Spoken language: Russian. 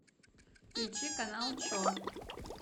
включи канал че